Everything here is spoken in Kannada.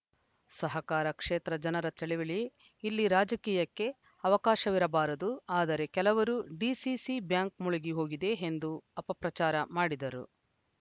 ಸಹಕಾರ ಕ್ಷೇತ್ರ ಜನರ ಚಳಿವಳಿ ಇಲ್ಲಿ ರಾಜಕೀಯಕ್ಕೆ ಅವಕಾಶವಿರಬಾರದು ಆದರೆ ಕೆಲವರು ಡಿಸಿಸಿ ಬ್ಯಾಂಕ್‌ ಮುಳುಗಿ ಹೋಗಿದೆ ಎಂದು ಅಪಪ್ರಚಾರ ಮಾಡಿದರು